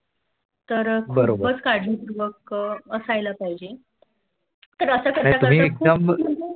तर खूपच काळजी पूर्वक असायला पहिजे. तर असं करता करता